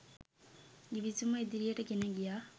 ගිවිසුම ඉදිරියට ගෙන ගියා.